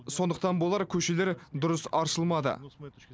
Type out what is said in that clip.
сондықтан бұлар көшелер дұрыс аршылмады